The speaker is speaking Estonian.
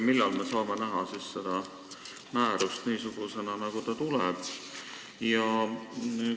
Millal me saame näha seda määrust niisugusena, nagu ta olema hakkab?